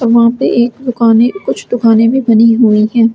वह एक दुकाने है कुछ दुकाने भी बनी हुई हैं ।